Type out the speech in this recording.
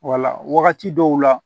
Wala wagati dɔw la